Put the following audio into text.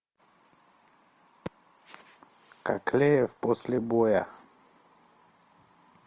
кокляев после боя